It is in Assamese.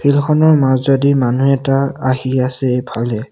ফিল্ড খনৰ মাজেদি মানুহ এটা আহি আছে এইফলে।